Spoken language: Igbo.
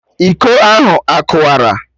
Iko ahụ akụwara?